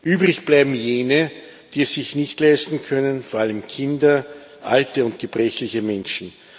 Übrig bleiben jene, die es sich nicht leisten können, vor allem Kinder, alte und gebrechliche Menschen.